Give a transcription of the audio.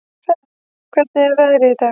Sæmi, hvernig er veðrið í dag?